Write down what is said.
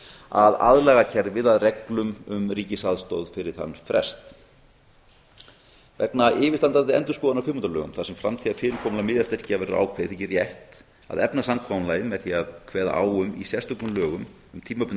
að aðlaga kerfið að reglum um ríkisaðstoð fyrir þennan frest vegna yfirstandandi endurskoðunar á kvikmyndalögum þar sem framtíðarfyrirkomulag miðastyrkja verður ákveðið þykir rétt að efna samkomulagið með því að kveða á um í sérstökum lögum um